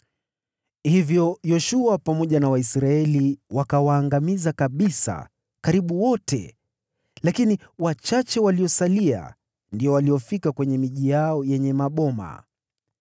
Hivyo Yoshua pamoja na Waisraeli wakawaangamiza kabisa karibu wote, lakini wachache waliosalia walifika kwenye miji yao yenye maboma.